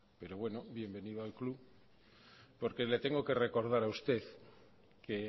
pero bueno bienvenido al club porque le tengo que recordar a usted que